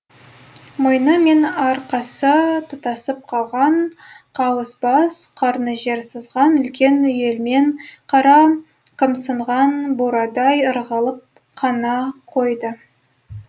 мойны мен арқасы тұтасып қалған қауыс бас қарны жер сызған үлкен үйелмен қара қымсынған бурадай ырғалып қана қойды